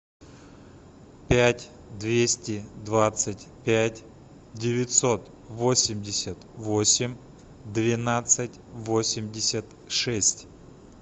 пять двести двадцать пять девятьсот восемьдесят восемь двенадцать восемьдесят шесть